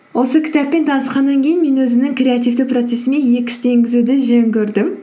осы кітаппен танысқаннан кейін мен өзімнің креативті процессіме екі істі енгізуді жөн көрдім